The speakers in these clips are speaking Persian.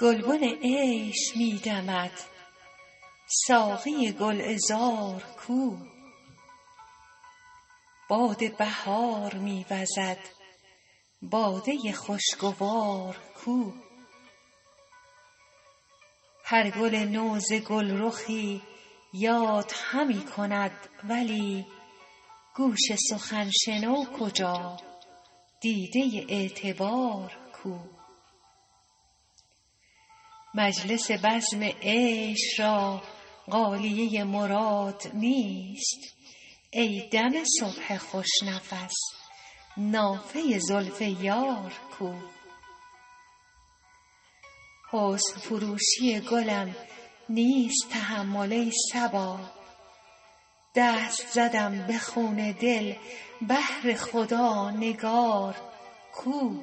گلبن عیش می دمد ساقی گل عذار کو باد بهار می وزد باده خوش گوار کو هر گل نو ز گل رخی یاد همی کند ولی گوش سخن شنو کجا دیده اعتبار کو مجلس بزم عیش را غالیه مراد نیست ای دم صبح خوش نفس نافه زلف یار کو حسن فروشی گلم نیست تحمل ای صبا دست زدم به خون دل بهر خدا نگار کو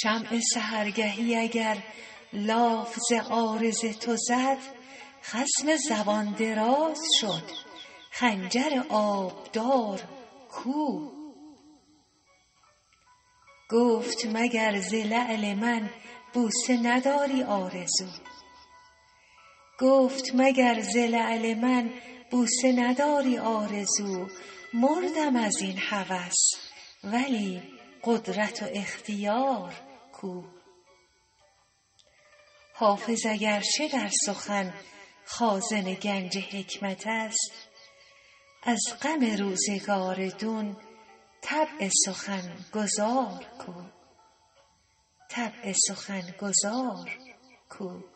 شمع سحرگهی اگر لاف ز عارض تو زد خصم زبان دراز شد خنجر آبدار کو گفت مگر ز لعل من بوسه نداری آرزو مردم از این هوس ولی قدرت و اختیار کو حافظ اگر چه در سخن خازن گنج حکمت است از غم روزگار دون طبع سخن گزار کو